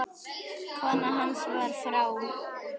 Kona hans var frá